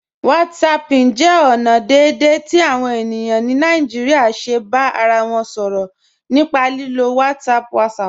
Whatsapping jẹ ọna deẹ̀dẹ̀ ti awọn ènìyàn ni Naijíríà ṣè bá ara wọn sọrọ̀ nípà lílò WhatsApp WhatsApp.